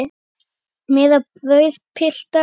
Meira brauð, piltar?